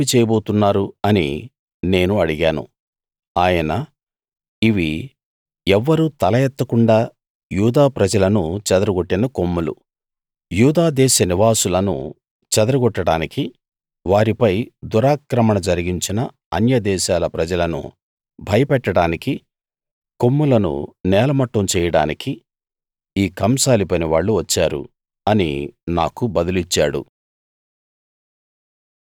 వీళ్ళు ఏమి చేయబోతున్నారు అని నేను అడిగాను ఆయన ఇవి ఎవ్వరూ తల ఎత్తకుండా యూదా ప్రజలను చెదరగొట్టిన కొమ్ములు యూదా దేశ నివాసులను చెదరగొట్టడానికి వారిపై దురాక్రమణ జరిగించిన అన్య దేశాల ప్రజలను భయపెట్టడానికి కొమ్ములను నేలమట్టం చేయడానికి ఈ కంసాలి పనివాళ్ళు వచ్చారు అని నాకు బదులిచ్చాడు